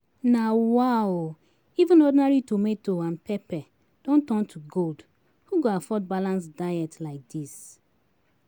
Na wa o even ordinary tomato and pepper don turn to gold, who go afford balanced diet like this?